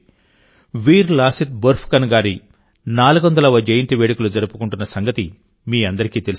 వీర్ లాసిత్ బోర్ఫుకన్ గారి400వ జయంతి వేడుకలు జరుపుకుంటున్న సంగతి మీ అందరికీ తెలిసిందే